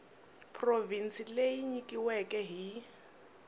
provhinsi leyi yi nyikiweke hi